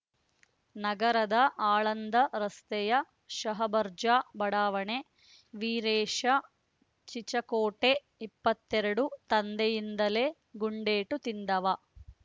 ನಗರದ ಆಳಂದ ರಸ್ತೆಯ ಶಹಾಬಜಾರ್‌ ಬಡಾವಣೆ ವೀರೇಶ ಚಿಚಕೋಟೆ ಇಪ್ಪತ್ತೆರಡು ತಂದೆಯಿಂದಲೇ ಗುಂಡೇಟು ತಿಂದವ